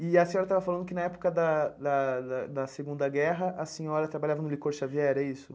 E a senhora estava falando que, na época da da da da Segunda Guerra, a senhora trabalhava no licor Xavier, é isso?